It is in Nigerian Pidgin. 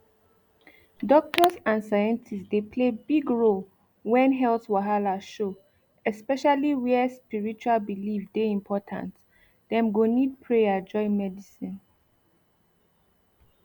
doctors and scientists dey play big role when health wahala show especially where spiritual belief dey important dem go need prayer join medicine